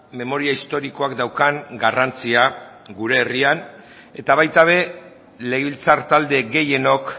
memoria historikoak daukan garrantzia gure herrian eta baita ere legebiltzar talde gehienok